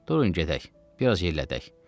Durun gedək, biraz yellədək.